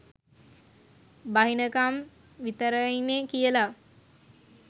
බහිනකම් විතරයිනේ කියලා